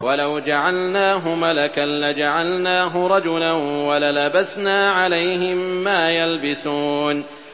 وَلَوْ جَعَلْنَاهُ مَلَكًا لَّجَعَلْنَاهُ رَجُلًا وَلَلَبَسْنَا عَلَيْهِم مَّا يَلْبِسُونَ